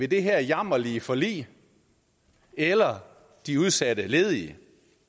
det her jammerlige forlig eller de udsatte ledige